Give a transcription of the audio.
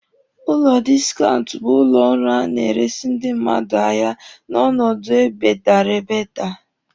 Ụlọ diskaunt bụ ụlọ ọrụ a na-eresi ndị mmadụ ahịa n'ọnọdụ e bedatara.